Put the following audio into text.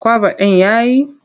Kwaba ɗin ya yi.